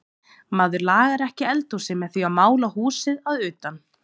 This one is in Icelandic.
Maður lagar ekki eldhúsið með því að mála húsið að utan.